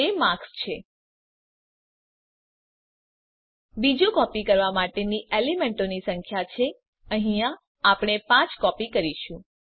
તે માર્ક્સ છે બીજુ કોપી કરવા માટેની એલીમેન્તોની સંખ્યા છે અહીંયા આપણે ૫ કોપી કરીશું